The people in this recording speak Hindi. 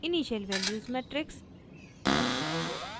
initial values matrix